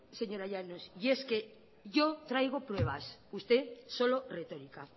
señora llanos yo traigo pruebas usted solo retórica